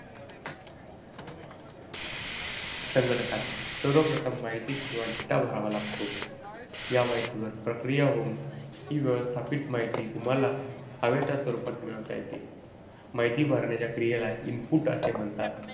संगणकात सर्वप्रथम माहिती किंवा data भरावा लागतो. या माहितीवर प्रक्रिया होऊन ही व्यवस्थित माहिती तुम्हाला हव्या त्या स्वरूपात मिळवता येते. माहिती भरण्याच्या क्रियेला input असे म्हणतात.